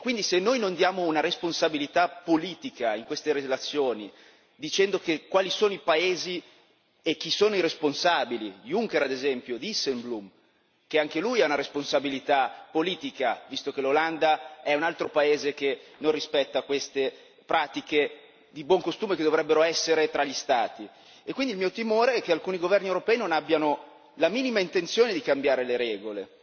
E quindi se noi non diamo una responsabilità politica in queste relazioni, dicendo quali sono i paesi e chi sono i responsabili, Juncker ad esempio, Dijsselbloem, che anche lui ha una responsabilità politica, visto che l'Olanda è un altro paese che non rispetta queste pratiche di buon costume che dovrebbero essere tra gli Stati e quindi il mio timore è che alcuni governi europei non abbiano la minima intenzione di cambiare le regole.